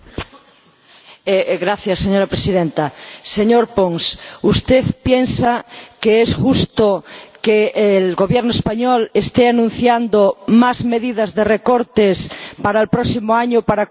Señor Pons, ¿usted piensa que es justo que el Gobierno español esté anunciando más medidas de recortes para el próximo año, para cumplir con la Unión Europea?